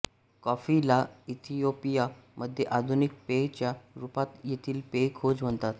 coffee ला Ethiopia मध्ये आधुनिक पेय च्या रूपात येथील पेय खोज म्हणतात